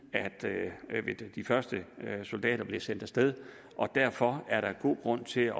de første soldater blev sendt af sted derfor har jeg god grund til